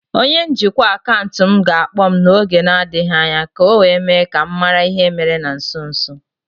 My account manager will soon call me to intimate me the recent happening